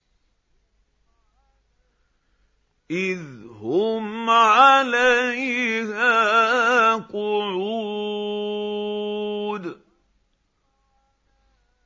إِذْ هُمْ عَلَيْهَا قُعُودٌ